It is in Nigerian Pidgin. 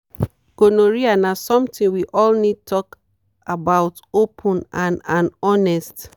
gonorrhea na something we all need talk about open and and honest.